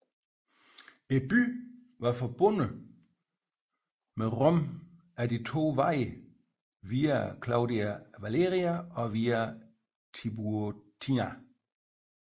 Byen var forbundet med Rom ad de to veje Via Claudia Valeria og Via Tiburtina